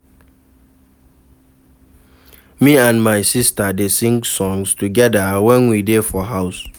Me and my sista dey sing songs togeda wen we dey for house.